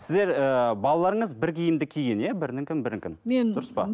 сіздер ыыы балаларыңыз бір киімді киген иә бірінікін бірінікін мен дұрыс па